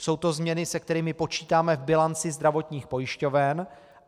Jsou to změny, se kterými počítáme v bilanci zdravotních pojišťoven.